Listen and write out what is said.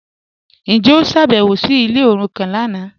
Njẹ o ṣábẹ̀wò sí ilẹ̀ orúkàn lánà?